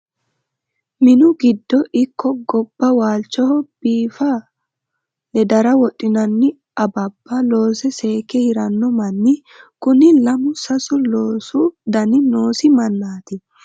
Minu giddo ikko gobba waalchoho biifa ledara wodhinanni awabba loose seekke hirano manni kuni lamu sasu loosu dani noosi mannati.